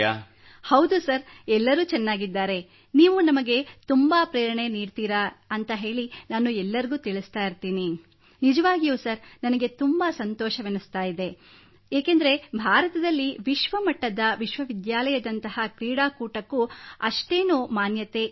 ಹೌದು ಸರ್ ಎಲ್ಲರೂ ಚೆನ್ನಾಗಿದ್ದಾರೆ ನೀವು ನಮಗೆ ತುಂಬಾ ಪ್ರೇರಣೆ ನೀಡುತ್ತೀರಿ ಎಂದು ನಾನು ಎಲ್ಲರಿಗೂ ಹೇಳುತ್ತಿರುತ್ತೇನೆ ನಿಜವಾಗಿಯೂ ಸರ್ ನನಗೆ ತುಂಬಾ ಸಂತೋಷವೆನಿಸುತ್ತಿದೆ ಏಕೆಂದರೆ ಭಾರತದಲ್ಲಿ ವಿಶ್ವಮಟ್ಟದ ವಿಶ್ವವಿದ್ಯಾಲಯದಂತಹ ಕ್ರೀಡಾಕೂಟಕ್ಕೆ ಅಷ್ಟೆನೂ ಮಾನ್ಯತೆಯಿರಲಿಲ್ಲ